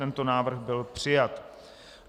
Tento návrh byl přijat.